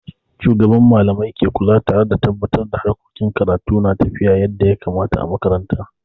Shugaban Mallamai ke kula tare da tabatar da harkokin karatu na tafiya yadda ya kamata a makaranta.